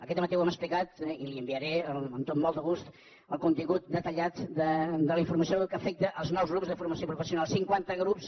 aquest dematí ho hem explicat i li enviaré amb molt de gust el contingut detallat de la informació que afecta els nous grups de formació personal cinquanta grups